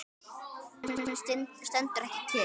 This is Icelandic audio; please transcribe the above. Tíminn stendur ekki kyrr.